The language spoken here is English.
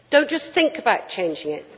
Do not just think about changing it.